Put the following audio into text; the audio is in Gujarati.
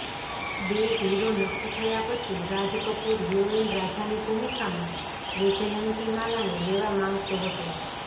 બે હીરો નક્કી થયા પછી રાજ કપૂર હિરોઈન રાધાની ભૂમિકામાં વૈજયંતીમાલાને લેવા માંગતો હતો